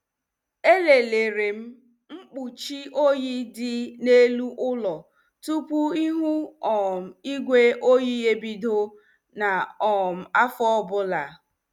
E lelerem mkpuchi oyi dị n' elu ụlọ tupu ihu um igwe oyi ebido n' um afọ ọbụla.